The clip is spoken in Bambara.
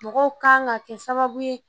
Mɔgɔw kan ka kɛ sababu ye